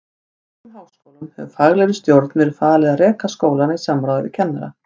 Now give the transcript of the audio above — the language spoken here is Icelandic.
Í breskum háskólum hefur faglegri stjórn verið falið að reka skólana í samráði við kennara.